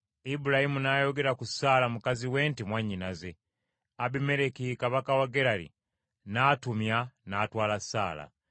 Ibulayimu n’ayogera ku Saala mukazi we nti, “Mwannyinaze.” Abimereki kabaka we Gerali n’atumya n’atwala Saala.